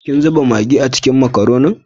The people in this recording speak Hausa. Kin zuba magi a cikin makaronin?